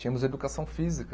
Tínhamos educação física.